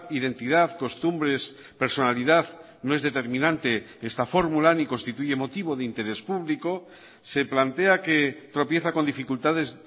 identidad costumbres personalidad no es determinante esta fórmula ni constituye motivo de interés público se plantea que tropieza con dificultades